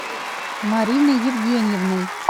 мариной евгеньевной